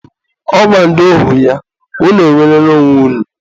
ọ gwara ndị ohu ya, 'unu enwerela onwe unu'